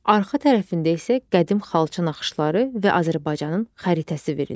Arxa tərəfində isə qədim xalça naxışları və Azərbaycanın xəritəsi verilmişdir.